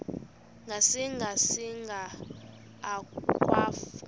ngasinga singa akwafu